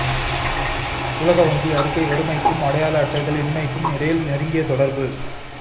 உலக வங்கி அறிக்கை வறுமைக்கும் அடையாள அட்டைகள் இன்மைக்கும் இடையில் நெருங்கிய தொடர்பு